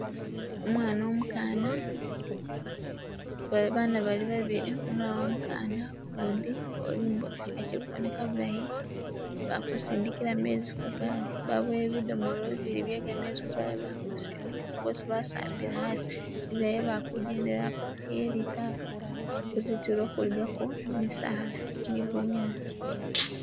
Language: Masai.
Omwana umukana bana balibabili umulala umukana ukundi ulimbo akilikuboneka bulayi balikusindikila mezzi ku'gali, baboyile bidomola bibili byekamezi ku'gali, balikusindika bossi basambile asi ingila isi'balikhugendelakho iye litaka khuzintulo khuligako misala ni'bunyasi